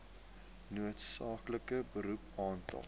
noodsaaklike beroep aantal